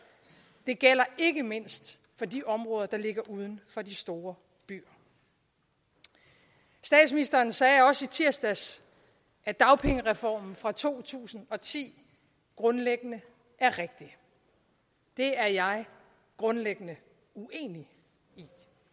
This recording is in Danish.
det gælder ikke mindst for de områder der ligger uden for de store byer statsministeren sagde også i tirsdags at dagpengereformen fra to tusind og ti grundlæggende er rigtig det er jeg grundlæggende uenig i